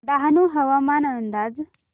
डहाणू हवामान अंदाज